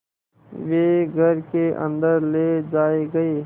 वे घर के अन्दर ले जाए गए